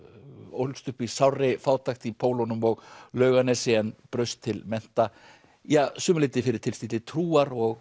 ólst upp í sárri fátækt í Pólunum og Laugarnesi en braust til mennta ja að sumu leyti fyrir tilstilli trúar og